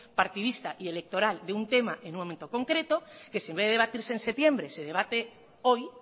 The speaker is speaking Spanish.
partidista y electoral de un tema en un momento concreto que en vez de debatir en septiembre se debate hoy